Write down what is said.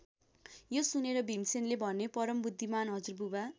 यो सुनेर भीमसेनले भने परम् बुद्धिमान हजुरबुबा!